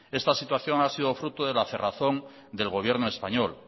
esta situación ha sido fruto de la cerrazón del gobierno español